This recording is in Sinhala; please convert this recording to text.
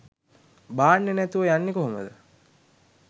බාන්නේ නැතුව යන්නේ කොහොමද